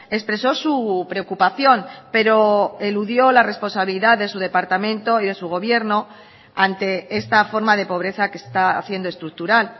expresó su preocupación pero eludió la responsabilidad de su departamento y de su gobierno ante esta forma de pobreza que está haciendo estructural